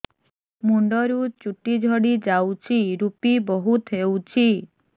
ମୁଣ୍ଡରୁ ଚୁଟି ଝଡି ଯାଉଛି ଋପି ବହୁତ ହେଉଛି